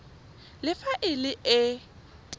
le fa e le e